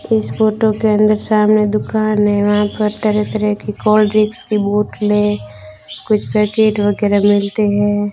इस फोटो के अंदर सामने दुकान है वहाँ पर तरह तरह की कोल्ड्रिक्स की बोतलें कुछ पॅकिट वगैरा मिलते हैं।